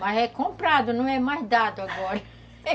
Mas é comprado, não é mais dado agora.